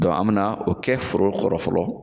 an mina o kɛ foro kɔrɔ fɔlɔ